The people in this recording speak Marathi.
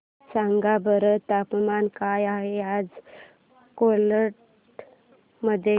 सांगा बरं तापमान काय आहे आज कोलाड मध्ये